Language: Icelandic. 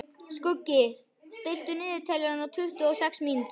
Skuggi, stilltu niðurteljara á tuttugu og sex mínútur.